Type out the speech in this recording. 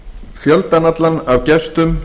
fjöldann allan af gestum